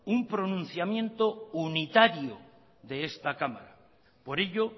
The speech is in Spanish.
un pronunciamiento unitario de esta cámara por ello